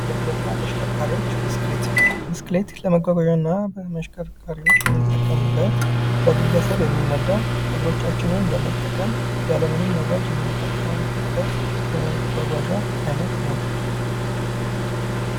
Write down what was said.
መጓጓዣና ተሽከርካሪዎች፤ ብስክሌት፦ ብስክሌት ለመጓጓዣና ተሽከርካሪዎች የምንጠቀምበት፣ በግለሰብ የሚነዳ፣ እግሮቻችንን በመጠቀም ያለምንም ነዳጅ የምንጠቀምበት የመጓጓዣ አይነት ነው።